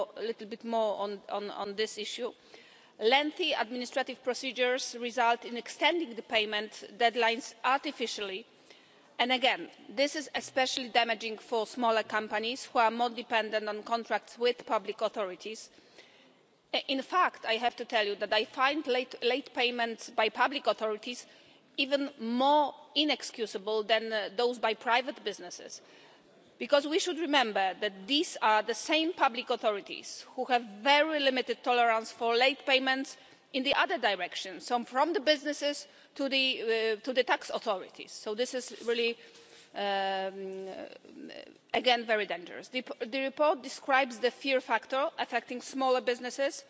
Let me focus a little bit more on this issue. Lengthy administrative procedures result in extending the payment deadlines artificially and, again, this is especially damaging to smaller companies who are more dependent on contracts with public authorities. In fact I have to tell you that I find late payments by public authorities even more inexcusable than those by private businesses, because we should remember that these are the same public authorities who have very limited tolerance for late payments in the other direction, so from businesses to the tax authorities. Again, this is very dangerous. The report describes the fear factor